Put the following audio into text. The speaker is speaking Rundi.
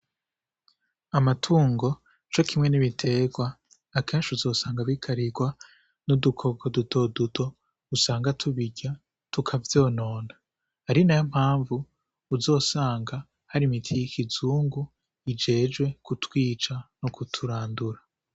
Amatungo, co kimwe n'ibiterwa, akenshi uzosanga bikarirwa n'udukoko duto duto usanga tubirya tukavyonona. Ari nayo mpamvu uzosanga hari imiti y'ikizungu ijejwe kutwica no kuturandura.